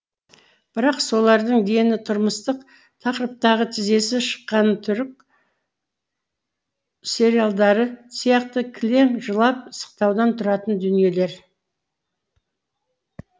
бірақ солардың дені тұрмыстық тақырыптағы тізесі шыққан түрік сериалдары сияқты кілең жылап сықтаудан тұратын дүниелер